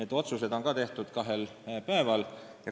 Ka otsused on tehtud kahel päeval.